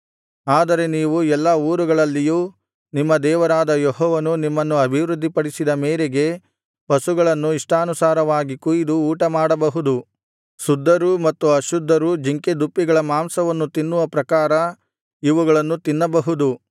ಆದರೆ ನೀವು ಎಲ್ಲಾ ಊರುಗಳಲ್ಲಿಯೂ ನಿಮ್ಮ ದೇವರಾದ ಯೆಹೋವನು ನಿಮ್ಮನ್ನು ಅಭಿವೃದ್ಧಿಪಡಿಸಿದ ಮೇರೆಗೆ ಪಶುಗಳನ್ನು ಇಷ್ಟಾನುಸಾರವಾಗಿ ಕೊಯಿದು ಊಟಮಾಡಬಹುದು ಶುದ್ಧರೂ ಮತ್ತು ಅಶುದ್ಧರೂ ಜಿಂಕೆದುಪ್ಪಿಗಳ ಮಾಂಸವನ್ನು ತಿನ್ನುವ ಪ್ರಕಾರ ಇವುಗಳನ್ನು ತಿನ್ನಬಹುದು